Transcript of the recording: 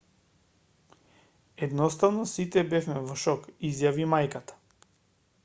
едноставно сите бевме во шок изјави мајката